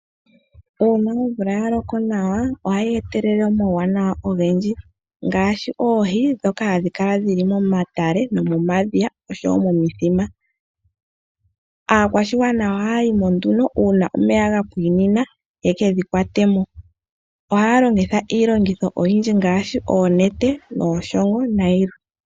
Uuna omvula ya loko nawa ohayi etelele omauwanawa ogendji ngaashi oohi ndhoka hadhi kala dhili momatale, momadhiya oshowo momithima. Aakwashigwana ohaya yi mo nduno uuna omeya ga pwinina yeke dhikwate mo. Ohaya longitha iilongitho oyindji ngaashi oonete, ooshongo nayilwe.